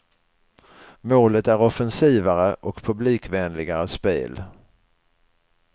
Målet är offensivare och publikvänligare spel.